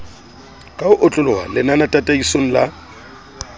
ka ho otloloha lenanetataisong la